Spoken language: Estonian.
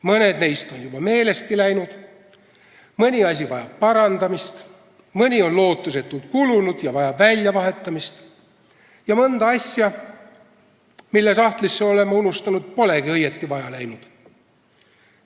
Mõned neist on juba meelestki läinud, mõni asi vajab parandamist, mõni on lootusetult kulunud ja vajab väljavahetamist ning mõnda asja, mille sahtlisse oleme unustanud, polegi õieti vaja läinud.